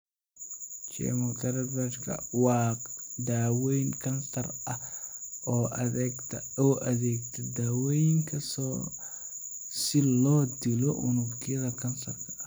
Chemotherapy-ga waa daaweyn kansar ah oo u adeegsata daawooyinka si loo dilo unugyada kansarka.